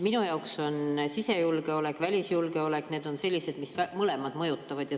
Minu jaoks on sisejulgeolek ja välisjulgeolek sellised, mis mõlemad mõjutavad.